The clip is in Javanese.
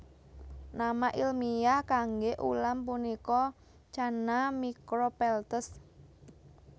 Nama ilmiah kangge ulam punika Channa micropeltes